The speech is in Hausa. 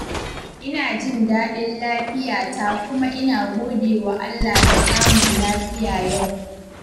Ina jin dadin lafiyata kuma ina godewa Allah da samun lafiya yau.